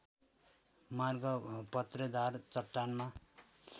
मार्ग पत्रेदार चट्टानमा